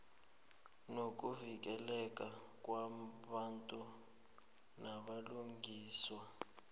nokuvikeleka kwabantu nobulungiswa